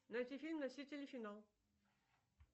найти фильм носители финал